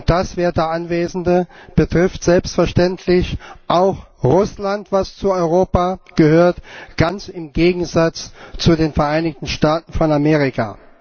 Das, werte Anwesende, betrifft selbstverständlich auch Russland, das zu Europa gehört ganz im Gegensatz zu den Vereinigten Staaten von Amerika.